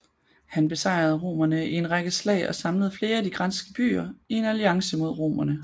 Han besejrede romerne i en række slag og samlede flere af de græske byer i en alliance mod romerne